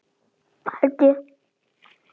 Held ég!